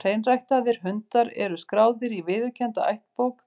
Hreinræktaðir hundar eru skráðir í viðurkennda ættbók,